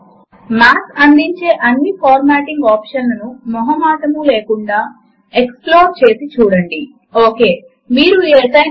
ఇక్కడ math application అర్ధము చేసుకునే ఒక ప్రత్యేకమైన మార్క్ యూపీ లాంగ్వేజ్ ను మనము వాడదాము